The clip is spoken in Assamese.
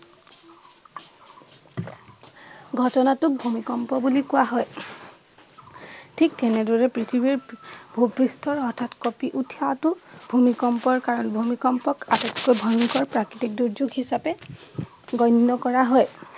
ঘটনাাটো ভূমিকম্প বুলি কোৱা হয়। থিক তেনেদৰেই পৃথিৱীৰ পি ভূ-পৃষ্ঠ হঠাৎ কপি উঠাটো ভূমিকম্পৰ কাৰণ। ভূমিকম্পক আটাতকৈ ভয়ংকৰ প্ৰাকৃতিক দুৰ্যোগ হিচাপে গণ্য কৰা হয়।